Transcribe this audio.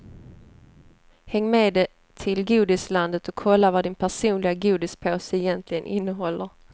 Häng med till godislandet och kolla vad din personliga godispåse egentligen innehåller.